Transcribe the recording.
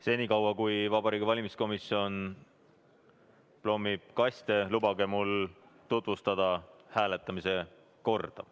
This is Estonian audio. Senikaua kui Vabariigi Valimiskomisjon kaste plommib, lubage mul tutvustada hääletamise korda.